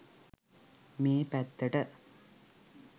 මේ පැත්තට.